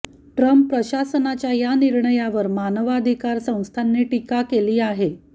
Trump प्रशासनाच्या या निर्णयावर मानवाधिकार संस्थांनी टीका केली आहे